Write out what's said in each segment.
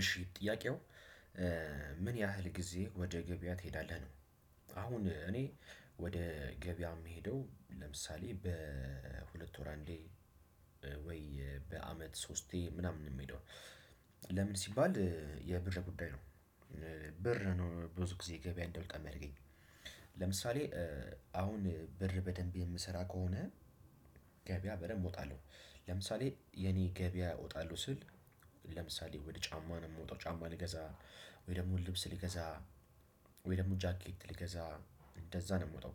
እሺ ጥያቄው ምን ያህል ጊዜ ወደ ገበያ ትሄዳለህ ነው? አሁን እኔ ወደ ገበያ የምሄደው ለምሳሌ በሁለት ወር አንዴ ወይ በአመት ሶስቴ ምናምን የሚሄደው። ለምን ሲባል የብር ጉዳይ ነው። ብር ነው ብዙ ጊዜ ገበያ እንደውል ከሚያደርገኝ። ለምሳሌ አሁን ብር በደንብ የምሰራ ከሆነ። ገበያ በደንብ እወጣለሁ ለምሳሌ የኔ ገበያ እወጣለሁ ስል ለምሳሌ ወደ ጫማ ነው የምወጣው ጫማ ልገዛ ወይ ደግሞ ልብስ ልገዛ ወይ ደግሞ ጃኬት ልገዛ እንደዛ ነው የምወጣው።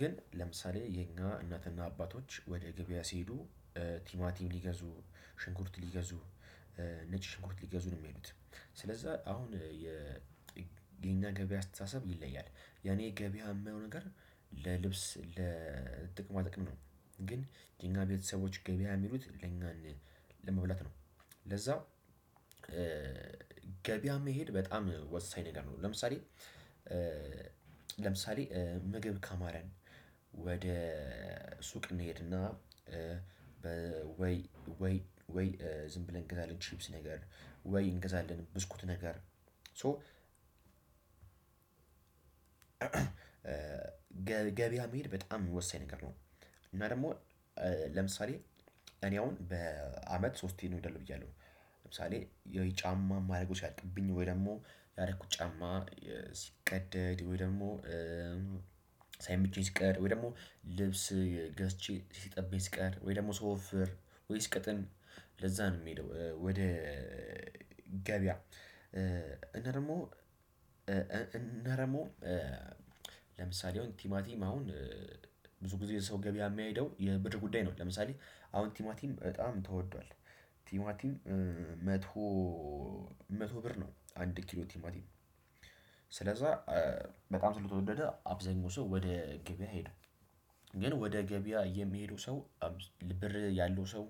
ግን ለምሳሌ የኛ እናትና አባቶች ወደ ገበያ ሲሄዱ ቲማቲም ሊገዙ ሽንኩርት ሊገዙ ነጭ ሽንኩርት ሊገዙ ነው የሚሄዱት። ስለዛ አሁን የኛ ገበያ አስተሳሰብ ይለያል። የኔ ገበያ የማየው ነገር ለልብስ ለጥቅማ ጥቅም ነው። ግን የኛ ቤተሰቦች ገበያ የሚሉት ለኛን ለመብላት ነው። ለዛው ገበያ መሄድ በጣም ወሳኝ ነገር ነው። ለምሳሌ ለምሳሌ ምግብ ካማረን ወደ ሱቅ እንሄድና ወይ ወይ ዝም ብለን እንገዛለን ችፕስ ነገር ወይ እንገዛለን ብስኩት ነገር። ገበያ መሄድ በጣም ወሳኝ ነገር ነው። እና ደግሞ ለምሳሌ እኔ አሁን በአመት ሶስቴን ነው የምለው ብያለሁ። ለምሳሌ የጫማ የማደርገው ሲያልቅብኝ ወይ ደግሞ ያረኩት ጫማ ሲቀደድ ወይ ደግሞ ሳይመቸኝ ሲቀር ወይ ደግሞ ልብስ ገዝቼ ሲጠበኝ ሲቀር ወይ ደግሞ ስወፍር ወይ ስቀጥን ለዛ ነው የምሄደው። ገበያ እና ደግሞ ለምሳሌ አሁን ቲማቲም አሁን ብዙ ጊዜ ሰው ገበያ የማይሄደው የብር ጉዳይ ነው። ለምሳሌ አሁን ቲማቲም በጣም ተወዷል። ቲማቲም መቶ መቶ ብር ነው አንድ ኪሎ ቲማቲም ስለዛ በጣም ስለተወደደ አብዛኛው ሰው ወደ ገበያ አይሄድም። ግን ወደ ገበያ የሚሄደው ሰው ብር ያለው ሰው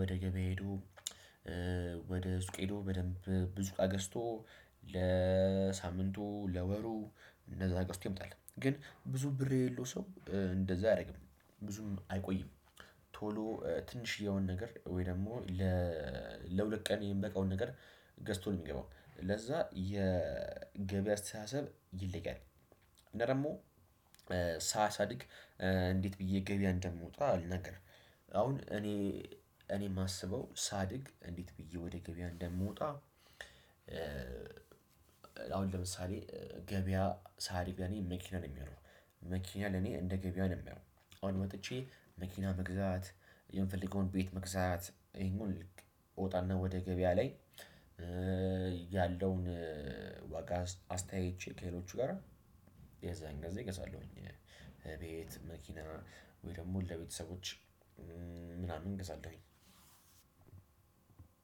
ወደ ገበያ ሄዶ ወደ ሱቅ ሄዶ በደንብ ብዙ እቃ ገዝቶ ለሳምንቱ ለወሩ እንደዛ ገዝቶ ይመጣል። ግን ብዙ ብር የሌለው ሰው እንደዛ አያደርግም ብዙም አይቆይም። ቶሎ ትንሽዬውን ነገር ወይ ደግሞ ለሁለት ቀን የምበቃውን ነገር ገዝቶ ነው የሚገባው ለዛ የገበያ አስተሳሰብ ይለያል። እና ደግሞ ሳሳድግ እንዴት ብዬ ገበያ እንደምወጣ ልናገር። አሁን እኔ እኔ የማስበው ሳድግ እንዴት ብዬ ወደ ገበያ እንደምወጣ። አሁን ለምሳሌ ገበያ ሳድግ ያኔ መኪና ነው የሚሆነው። መኪና ለኔ እንደ ገበያ ነው የማየው። አሁን ወጥቼ መኪና መግዛት የምፈልገውን ቤት መግዛት እንግዲህ እወጣና ወደ ገበያ ላይ ያለውን ዋጋ አስተያየቼ ከሌሎቹ ጋራ የዛን ጊዜ እገዛለሁኝ። ቤት መኪና ወይ ደግሞ ለቤተሰቦች ምናምን እገዛለሁኝ።